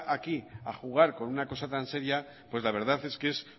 aquí a jugar con una cosa tan seria pues la verdad es que es